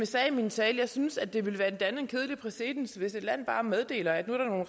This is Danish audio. sagde i min tale synes jeg at det ville danne en kedelig præcedens hvis et land bare meddeler at nu er